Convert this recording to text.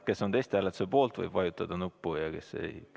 Kes on testhääletuse poolt, võib vajutada nuppu, ja kes ...